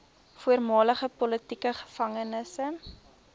voormalige politieke gevangenes